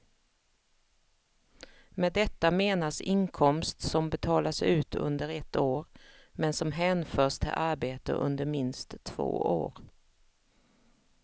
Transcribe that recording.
Med detta menas inkomst som betalas ut under ett år, men som hänförs till arbete under minst två år.